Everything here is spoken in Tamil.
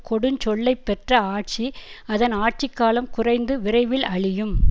கொடுஞ் சொல்லை பெற்ற ஆட்சி அதன் ஆட்சி காலம் குறைந்து விரைவில் அழியும்